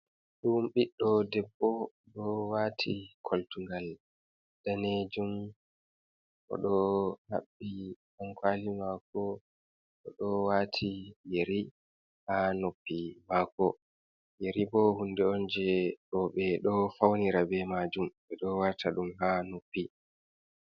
Ɗum ɓiɗɗo debbo ɗo waati koltugal daneejum . O ɗo haɓɓi ɗankooli maako , o ɗo waati yeri haa noppi maako . Yeri bo hunde on , jey bo ɓe ɗo fawnira be maajum ɓe ɗo waata ɗum haa noppi .